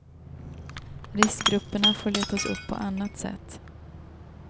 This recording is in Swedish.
Riskgrupperna får letas upp på annat sätt.